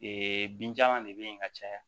Ee binjalan de bɛ yen ka caya